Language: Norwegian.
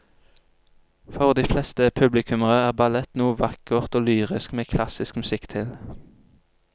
For de fleste publikummere er ballett noe vakkert og lyrisk med klassisk musikk til.